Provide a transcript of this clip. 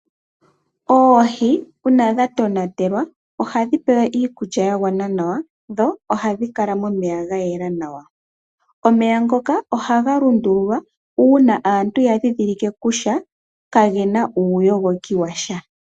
Oohi uuna dha tonatelwa, ohadhi pewa iikulya ya gwana nawa, dho ohadhi kala momeya ga yela nawa. Omeya ngoka ohaga lundululwa uuna aantu ya dhindhilike kutya kage na uuyogoki wa sha.